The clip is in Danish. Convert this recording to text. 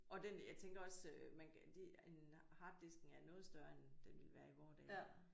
Og den jeg tænker også øh man det en harddisken er noget større end den ville være i vore dage